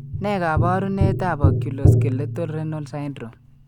Ne kaabarunetap Oculo skeletal renal syndrome?